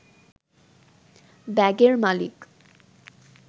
ব্যাগের মালিক